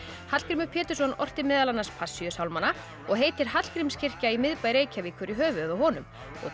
Hallgrímur Pétursson orti meðal annars Passíusálmana og heitir Hallgrímskirkja í miðbæ Reykjavíkur í höfuðið á honum